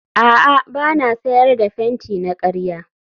a'a ba na sayar da fenti na karya